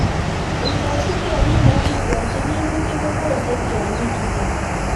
Ingesib kemin ak kikwochi minutik kobose tiongikchuton.